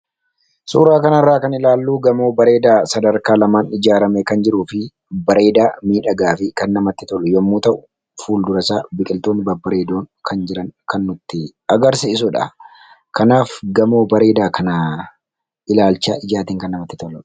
Suuraa kana irraa kan ilaallu, gamoo bareedaa sadarkaa lamaan ijaaramee kan jiruu fi bareeda, miidhagaa fi kan namatti tolu yemmuu ta'u, fuuldura isaa biqiltoonni babbareedoo kan jiran kan nuttii agarsiisudha. Kanaaf gamoo bareedaa kana ilaalcha ijaatiin kan namatti toludha.